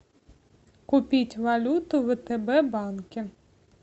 купить валюту в втб банке